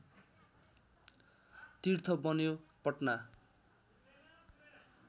तीर्थ बन्यो पटना